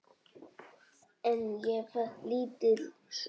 En ég fékk lítil svör.